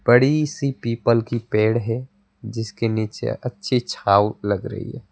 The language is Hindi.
बड़ी सी पीपल की पेड़ है जिसके नीचे अच्छी छाव लग रही है।